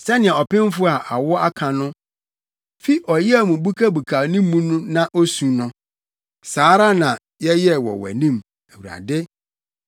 Sɛnea ɔpemfo a awo aka no fi ɔyaw mu bukabukaw ne mu na osu no, saa ara na yɛyɛe wɔ wʼanim, Awurade.